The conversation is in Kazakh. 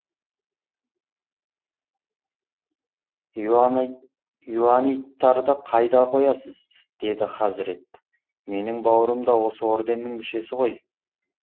иоанниттарды қайда қоясыз деді хазірет менің бауырым да осы орденнің мүшесі ғой